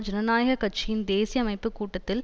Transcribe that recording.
ஜனநாயக கட்சியின் தேசிய அமைப்பு கூட்டத்தில்